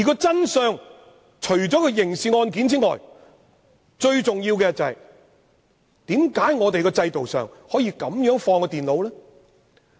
真相除了所涉及的刑事元素之外，最重要的是為何在制度上可以如此處置那台電腦？